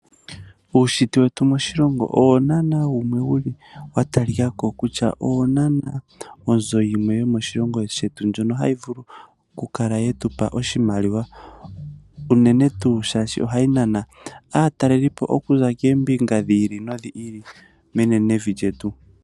Uunshitwe wetu moshilongo owo naanaa wumwe wuli watalikako kutya owo onzo yimwe yomoshilongo shetu, ndjono hayi vulu okukala yetu pa oshimaliwa unene tuu shaashi ohayi nana aatalelipo okuza koombinga dhiili nodhili menenevi lyetu.